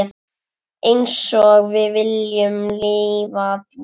Einsog við viljum lifa því.